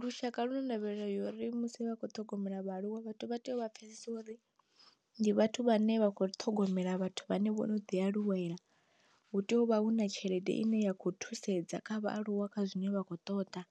Lushaka lu na ndavhelelo uri musi vhakho ṱhogomela vhaaluwa vhathu vha tea u vha pfesesa uri ndi vhathu vhane vha kho ṱhogomela vhathu vhane vho ḓi aluwela. Hu tea u vha hu na tshelede ine ya kho thusedza kha vhaaluwa kha zwine vha khou ṱoḓa,